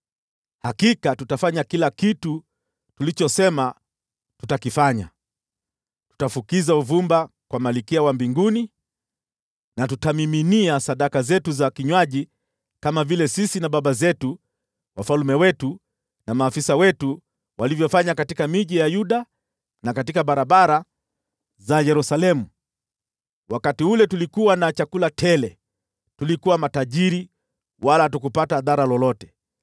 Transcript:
Hakika tutafanya kila kitu tulichosema tutakifanya: Tutafukiza uvumba kwa Malkia wa Mbinguni na tutammiminia sadaka zetu za kinywaji kama vile sisi na baba zetu, wafalme wetu na maafisa wetu tulivyofanya katika miji ya Yuda na katika barabara za Yerusalemu. Wakati ule tulikuwa na chakula tele, tulikuwa matajiri wala hatukupata dhara lolote.